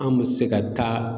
Anw bɛ se ka taa